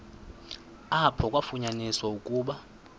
apho kwafunyaniswa ukuba